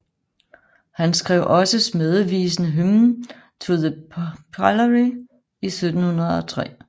Han skrev også smædevisen Hymn To The Pillory i 1703